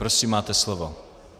Prosím, máte slovo.